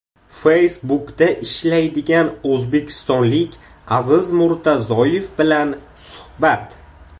Facebook’da ishlaydigan o‘zbekistonlik Aziz Murtazoyev bilan suhbat.